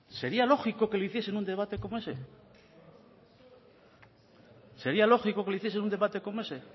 sería lógico que lo hiciera en un debate como ese sería lógico que lo hiciese en un debate como ese